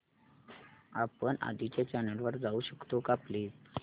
आपण आधीच्या चॅनल वर जाऊ शकतो का प्लीज